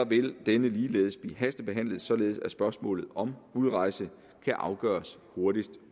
vil denne ligeledes blive hastebehandlet således at spørgsmålet om udrejse kan afgøres hurtigst